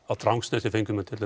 á Drangsnesi fengu menn til